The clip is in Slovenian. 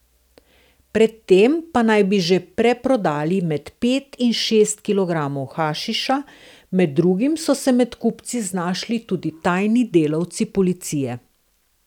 Pred tem pa naj bi že preprodali med pet in šest kilogramov hašiša, med drugim so se med kupci znašli tudi tajni delavci policije.